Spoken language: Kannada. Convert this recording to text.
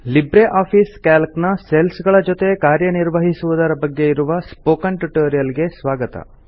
ಲಿಬ್ರೆ ಆಫೀಸ್ ಕ್ಯಾಲ್ಕ್ ನ ಸೆಲ್ಲ್ಸ್ ಗಳ ಜೊತೆ ಕಾರ್ಯ ನಿರ್ವಹಿಸುವುದರ ಬಗ್ಗೆ ಇರುವ ಸ್ಪೋಕನ್ ಟ್ಯುಟೊರಿಯಲ್ ಗೆ ಸ್ವಾಗತ